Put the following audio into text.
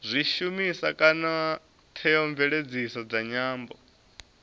zwishumiswa kana theomveledziso dza nyambo